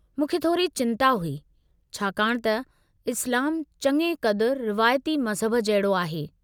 मूंखे थोरी चिंता हुई, छाकाणि त इस्लामु चङे क़दुरु रिवायती मज़हब जहिड़ो आहे।